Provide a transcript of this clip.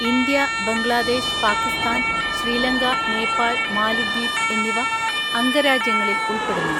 India, Bangladesh, Pakistan, Sri Lanka, Nepal, മാലിദ്വീപ് എന്നിവ അംഗരാജ്യങ്ങളിൽ ഉൾപ്പെടുന്നു.